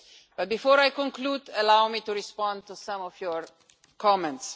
But before I conclude, allow me to respond to some of your comments.